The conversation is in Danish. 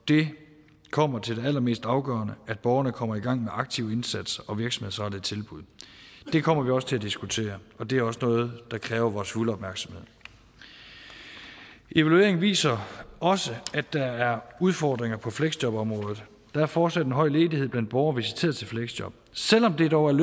det kommer til det allermest afgørende at borgerne kommer i gang med en aktiv indsats og virksomhedsrettede tilbud det kommer vi også til at diskutere og det er også noget der kræver vores fulde opmærksomhed evalueringen viser også at der er udfordringer på fleksjobområdet der er fortsat en høj ledighed blandt borgere visiteret til fleksjob selv om det dog er